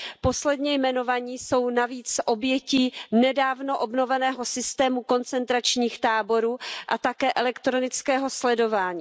Posledně jmenovaní jsou navíc obětí nedávno obnoveného systému koncentračních táborů a také elektronického sledování.